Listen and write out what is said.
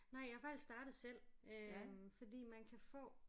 Nej jeg er faktisk startet selv fordi man kan få